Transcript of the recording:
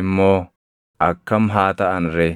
immoo akkam haa taʼan ree?